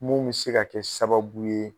Mun be se ka kɛ sababu ye